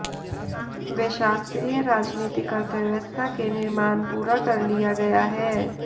वे शास्त्रीय राजनीतिक अर्थव्यवस्था के निर्माण पूरा कर लिया गया है